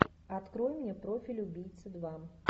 открой мне профиль убийцы два